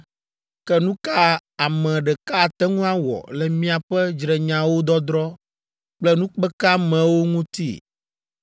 Ke nu ka ame ɖeka ate ŋu awɔ le miaƒe dzrenyawo dɔdrɔ̃ kple nukpekeamewo ŋuti?